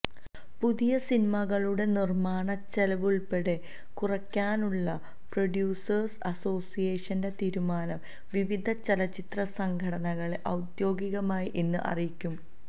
പുതിയ സിനിമകളുടെ നിര്മാണ ചെലവ് ഉള്പ്പെടെ കുറയ്ക്കാനുള്ള പ്രൊഡ്യൂസേര്സ് അസോസിയേഷന്റെ തീരുമാനം വിവിധ ചലച്ചിത്ര സംഘടനകളെ ഔദ്യോഗികമായി ഇന്ന് അറിയിക്കും